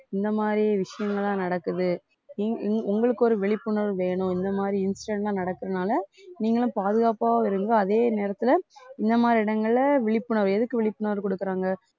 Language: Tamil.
இந்த மாதிரி விஷயங்கள் எல்லாம் நடக்குது உங்~ உங்~ உங்களுக்கு ஒரு விழிப்புணர்வு வேணும் இந்த மாதிரி instant ஆ நடக்கறதுனால நீங்களும் பாதுகாப்பா இருங்க அதே நேரத்துல இந்த மாதிரி இடங்கள்ல விழிப்புணர்வு எதுக்கு விழிப்புணர்வு கொடுக்குறாங்க